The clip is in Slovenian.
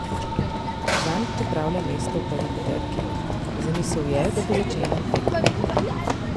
Zanj pripravlja mesto v prvi peterki: "Zamisel je, da bo začenjal tekmo.